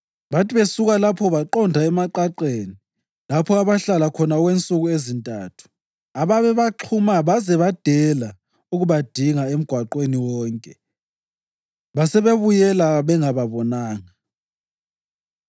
Bathi besuka lapho baqonda emaqaqeni lapho abahlala khona okwensuku ezintathu ababebaxhuma baze badela ukubadinga emgwaqweni wonke, basebebuyela bengababonanga.